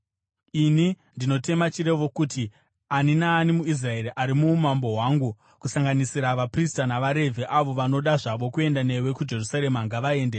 Ini ndinotema chirevo kuti ani naani muIsraeri ari muumambo hwangu, kusanganisira vaprista navaRevhi, avo vanoda zvavo kuenda newe kuJerusarema, ngavaende.